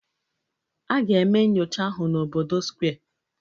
A ga-eme nyocha ahụ n'obodo Square